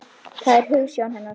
Það er hugsjón hennar.